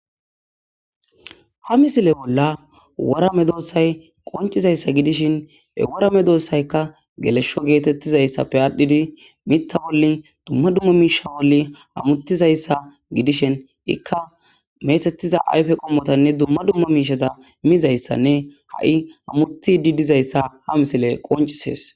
Ha misile bolla worame doossay qoncizayssa gidishin e worame doossayka gelesho geetettizayssappe aadhdhidi mitta wolli dumma dumma miisha woli amuttizayssa gidishin ikka metettiza ayfe qommotanne dumma dumma miishata miizayssanne ha7i amuti didizayssa ha misile qoncisees.